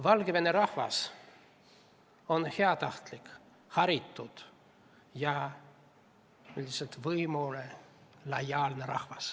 Valgevene rahvas on heatahtlik, haritud ja lihtsalt võimule lojaalne.